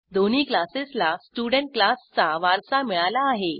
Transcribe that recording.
दोन्ही क्लासेसला स्टुडेंट क्लासचा वारसा मिळाला आहे